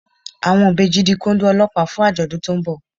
Àwọn ìbejì di Kóndó Ọlọ́pàá fún àjọ̀dún tó ń bọ̀